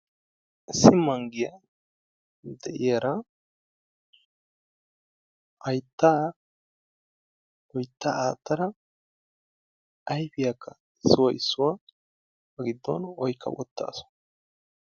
Issi manggiya de'iyara hayttaa loytta aakkada ayfiyakka issuwa issuwa ba giddon oykka uttaasu.